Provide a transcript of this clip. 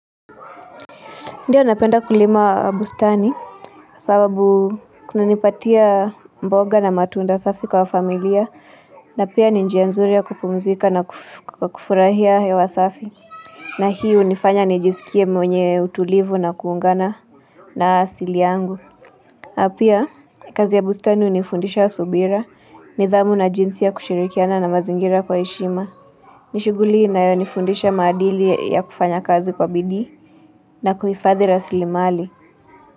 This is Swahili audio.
Ndio napenda kulima bustani sababu kununipatia mboga na matunda safi kwa familia na pia ni njia nzuri ya kupumzika na kufurahia hewa safi na hii unifanya nijisikie mwenye utulivu na kuungana na asili yangu na pia kazi ya bustani unifundisha subira nidhamu na jinsi ya kushirikiana na mazingira kwa eshima ni shuguli inayo nifundisha madili ya kufanya kazi kwa bidii na kuhufadhi rasilimali.